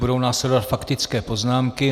Budou následovat faktické poznámky.